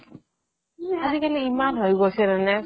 আজিকালি ইমান হৈ গৈছে মানে